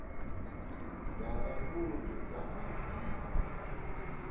dza kha vundu dza madzina